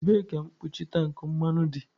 Ebee ka mkpuchi tank mmanụ dị?